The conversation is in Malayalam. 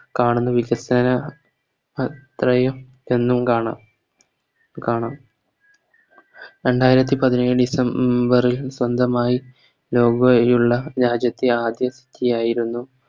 കാണുന്ന വ്യത്യസ്തമായ കാണാം കാണാം രണ്ടായിരത്തി പതിനേഴ് December ൽ സ്വന്തമായി ഉള്ള രാജ്യത്തെ ആദ്യ City ആയിരുന്നു